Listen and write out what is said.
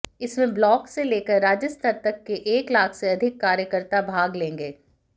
इसमें ब्लॉक से लेकर राज्य स्तर तक के एक लाख से अधिक कार्यकर्ता भाग लेंगे